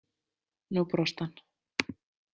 Nú brosti hann.